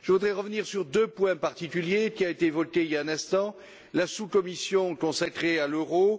Je voudrais revenir sur deux points particuliers qui ont été évoqués il y a un instant la sous commission consacrée à l'euro.